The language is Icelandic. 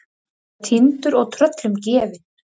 Að vera týndur og tröllum gefin